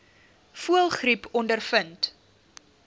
voëlgriep ondervind